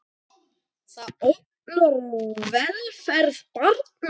Það ógnar velferð barna.